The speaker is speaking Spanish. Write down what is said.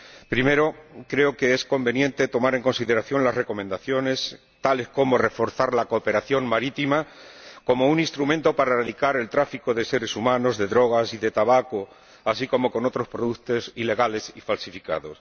Primero, creo que es conveniente tomar en consideración las recomendaciones, tales como reforzar la cooperación marítima como un instrumento para erradicar el tráfico de seres humanos, de drogas y de tabaco, así como de otros productos ilegales y falsificados.